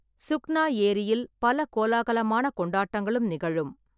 சுக்னா ஏரியில் பல கோலாகலமான கொண்டாட்டங்களும் நிகழும்.